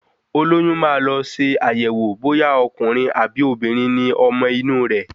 Olóyún maá lọ ṣe àyẹ̀wò bóyá Ọkùnrin àbí obìnrin ni ọmọ inu re